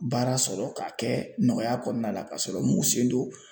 Baara sɔrɔ k'a kɛ nɔgɔya kɔnɔna la ka sɔrɔ m'u sen don